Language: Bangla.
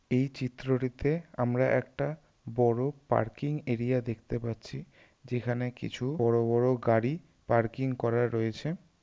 এই চিত্রটিতে আমরা একটা বড় পার্কিং এরিয়া দেখতে পাচ্ছি যেখানে কিছু বড় বড় গাড়ি পার্কিং করা রয়েছে।